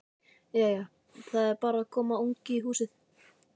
Jæja. það er bara að koma ungi í húsið!